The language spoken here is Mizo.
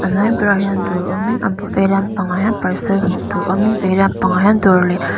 hnuai berah hian dawr awmin a bul veilam pangah hian parcel hmuh tur awmin veilam pangah hian dawr leh--